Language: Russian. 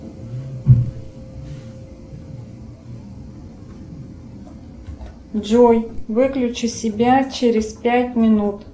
джой выключи себя через пять минут